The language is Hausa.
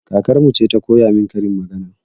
Kakarmu ce ta koya min karin magana